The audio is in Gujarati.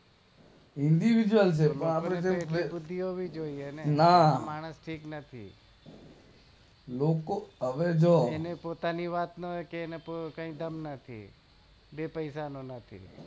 ઇંડીવિડ્યૂઅલના આ માણસ ઠીક નથી લોકો હવે જો એને પોતાની વાત નો કે એને કઈ ઠંગ નથી બે પૈસા નો નથી